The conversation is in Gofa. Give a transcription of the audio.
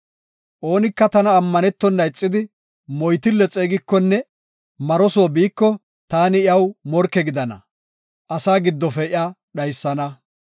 “Oonika tana ammanetona ixidi moytille xeegikonne maro soo biiko, taani iyaw morke gidana; asaa giddofe iya dhaysana.